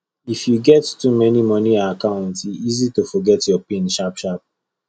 if you get too many money account e easy to forget your pin sharpsharp